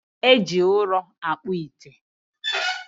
e ji ụrọ akpụ ite.